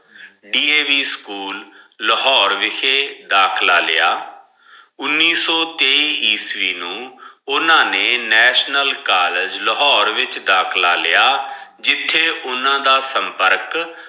D. A. V school ਲਾਹੋਰੇ ਵਿਖੇ ਦਾਖਲਾ ਲਿਆ ਉੱਨੀ ਸੋ ਤੇਈ ਈਸਵੀ ਨੂੰ ਓਨਾ ਨੇ ਨੈਸ਼ਨਲ ਕਾਲਜ ਲਾਹੋਰੇ ਵਿੱਚ ਦਾਖਲਾ ਲਿਆ ਜਿੱਥੇ ਉਹਨਾਂ ਦਾ ਸੰਪਰਕ।